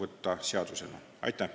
Aitäh!